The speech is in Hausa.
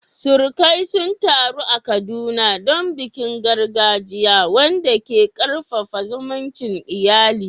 Surukai sun taru a Kaduna don bikin gargajiya, wanda ke karfafa zumuncin iyali.